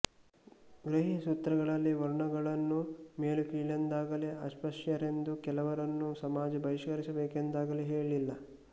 ಗೃಹ್ಯಸೂತ್ರಗಳಲ್ಲಿ ವರ್ಣಗಳನ್ನು ಮೇಲುಕೀಳೆಂದಾಗಲೀ ಅಸ್ಪೃಶ್ಯರೆಂದು ಕೆಲವರನ್ನು ಸಮಾಜ ಬಹಿಷ್ಕರಿಸಬೇಕೆಂದಾಗಲೀ ಹೇಳಿಲ್ಲ